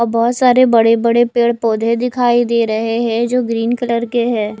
और बहुत सारे बड़े बड़े पेड़ पौधे दिखाई दे रहे हैं जो ग्रीन कलर के हैं।